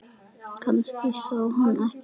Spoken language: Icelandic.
Kannski sá hann mig ekki.